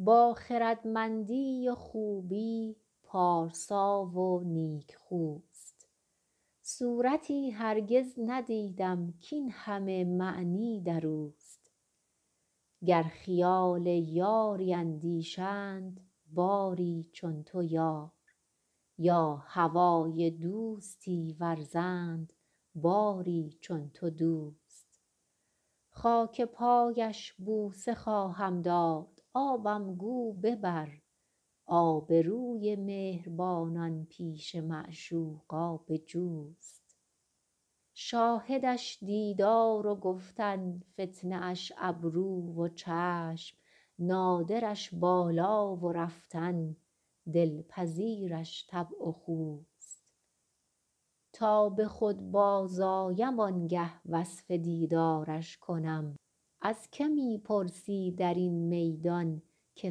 با خردمندی و خوبی پارسا و نیکخوست صورتی هرگز ندیدم کاین همه معنی در اوست گر خیال یاری اندیشند باری چون تو یار یا هوای دوستی ورزند باری چون تو دوست خاک پایش بوسه خواهم داد آبم گو ببر آبروی مهربانان پیش معشوق آب جوست شاهدش دیدار و گفتن فتنه اش ابرو و چشم نادرش بالا و رفتن دلپذیرش طبع و خوست تا به خود بازآیم آن گه وصف دیدارش کنم از که می پرسی در این میدان که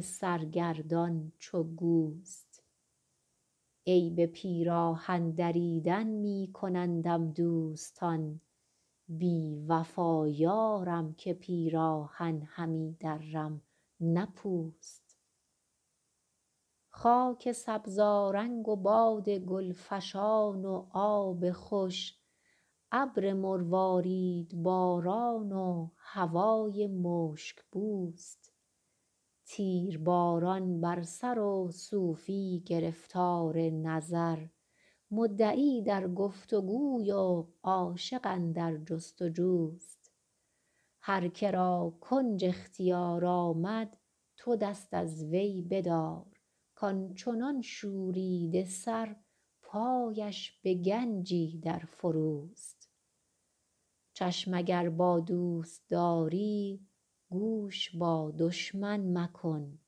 سرگردان چو گوست عیب پیراهن دریدن می کنندم دوستان بی وفا یارم که پیراهن همی درم نه پوست خاک سبزآرنگ و باد گل فشان و آب خوش ابر مرواریدباران و هوای مشک بوست تیرباران بر سر و صوفی گرفتار نظر مدعی در گفت وگوی و عاشق اندر جست وجوست هر که را کنج اختیار آمد تو دست از وی بدار کان چنان شوریده سر پایش به گنجی در فروست چشم اگر با دوست داری گوش با دشمن مکن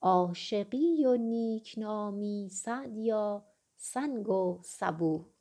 عاشقی و نیک نامی سعدیا سنگ و سبوست